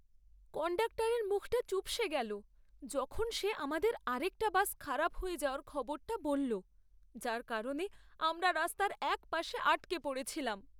কন্ডাক্টরের মুখটা চুপসে গেলো যখন সে আমাদের আরেকটা বাস খারাপ হয়ে যাওয়ার খবরটা বলল, যার কারণে আমরা রাস্তার এক পাশে আটকে পড়েছিলাম।